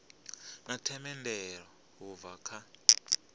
na themendelo u bva kha